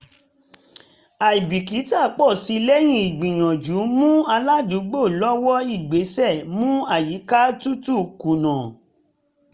àìbìkítà pọ̀ sí lẹ́yìn ìgbìyànjú mú aládùúgbò lọ́wọ́ ìgbésẹ̀ mú àyíká tutù kùnà